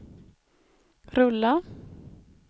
rulla